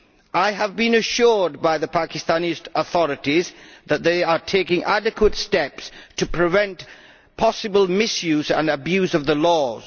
I have been assured by the Pakistani authorities that they are taking adequate steps to prevent possible misuse and abuse of the laws.